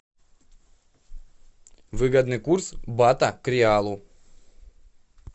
выгодный курс бата к реалу